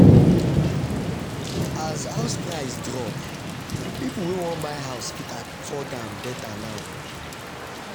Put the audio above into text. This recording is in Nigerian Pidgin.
as house price drop people wey wan buy house fit afford am better now.